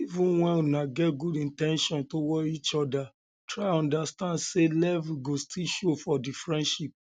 even when una get good in ten tions towards each oda try understand sey levels go still show for di friendship